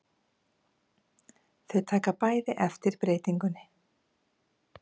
Þau taka bæði eftir breytingunni.